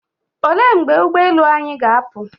Olee mgbe ụgboelu anyị ga-apụ?